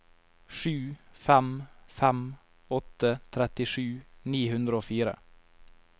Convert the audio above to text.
sju fem fem åtte trettisju ni hundre og fire